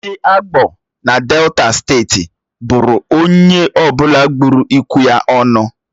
Ndị Agbor dị na Delta steeti buru onye ọ bụla gburu ikwụ ya ọnụ.